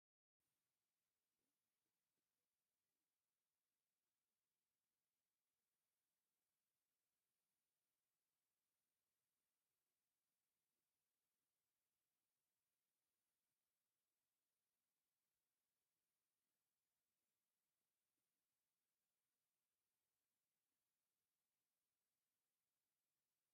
እዚ መዐደሊ ነዳዲ እዩ ዘርኢ። ኣብ ማእከል ድማ “ዞብለ ነዳዲ ኢትዮጵያ” ዝብል ጽሑፍ ዝተጻሕፈሎም ዓምድታት ነዳዲ ፓምፕ ኣለዉ። ብድሕሪኦም ገለ ሰባት ክጓዓዙ ወይ ደው ኢሎም ይረኣዩ። ከምዚ ዝበለ መዐደሊ ነዳዲ ኣብ ሃገር ወይ ከተማ ሪኢኩም ትፈልጡ ዶ?